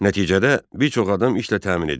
Nəticədə bir çox adam işlə təmin edildi.